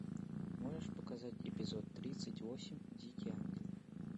можешь показать эпизод тридцать восемь дикий ангел